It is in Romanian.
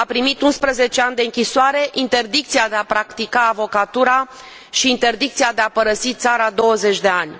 A primit 11 ani de închisoare, interdicția de a practica avocatura și interdicția de a părăsi țara 20 de ani.